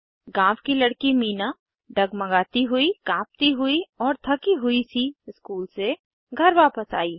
गाँव की लड़की मीना डगमगाती हुई काँपती हुई और थकी हुई सी स्कूल से घर वापस आई